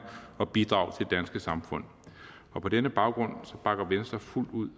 og bidrage til danske samfund på denne baggrund bakker venstre fuldt ud